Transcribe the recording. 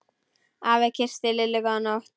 Afi kyssti Lillu góða nótt.